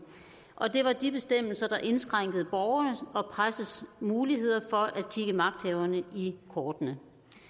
og det var de bestemmelser der indskrænkede borgernes og pressens muligheder for at kigge magthaverne i kortene